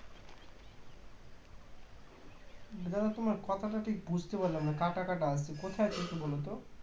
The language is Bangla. . তোমার কথাটা ঠিক বুঝতে পারলাম না কাটাকাটা আসছে কোথায় আছো বলতো